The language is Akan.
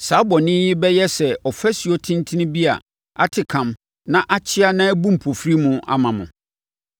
saa bɔne yi bɛyɛ sɛ ɔfasuo tentene bi a ate kam na akyea na ɛbu mpofirim, ama mo.